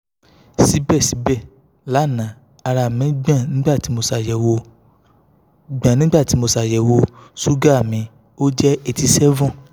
sibẹsibẹ lana ara mi gbon nigbati mo ṣayẹwo gbon nigbati mo ṣayẹwo suga mi o jẹ eighty seven